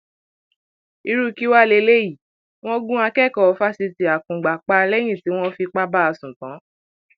irú kí wàá lélẹyìí wọn gun akẹkọọ fásitì akungba pa lẹyìn tí wọn fipá bá a sùn tán